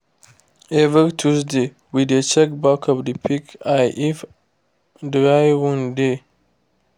every tuesday we dey check back of the pig ear if dried wound dey